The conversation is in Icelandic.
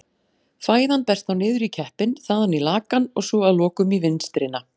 Fæðan berst þá niður í keppinn, þaðan í lakann og svo að lokum í vinstrina.